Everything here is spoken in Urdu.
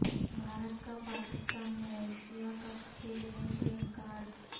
بھارت کا پاکستان میں ایشیا کپ کھیلنے سے انکار